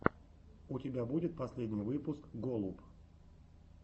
у тебя будет последний выпуск голуб